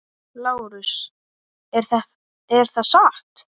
LÁRUS: Er það satt?